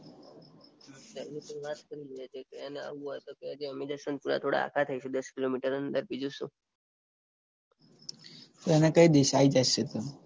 એને તુ વાત કરી દેજે. એને આવુ હોય તો કેજે થોડા આઘા થાઈશું દસ કિલોમીટર અંદર બીજું શું. તો એને કઈ દઇશ આઈ જશે એ તો.